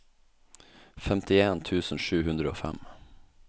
femtien tusen sju hundre og fem